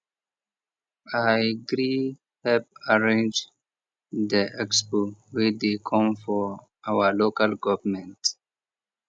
i gree help arrange the expo wey dey come for our local government